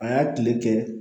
A y'a kile kɛ